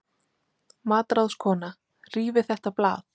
MATRÁÐSKONA: Rífið þetta blað!